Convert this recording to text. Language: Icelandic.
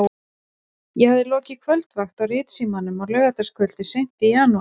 Ég hafði lokið kvöldvakt á Ritsímanum á laugardagskvöldi seint í janúar.